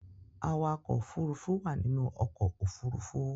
Awakọ̀ òfurufú wà nínú ọkọ̀-òfurufú.